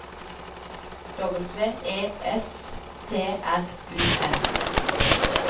W E S T R U M